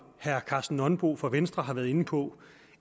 herre karsten nonbo fra venstre har været inde på